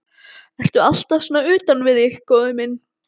Ertu alltaf svona utan við þig, góði minn?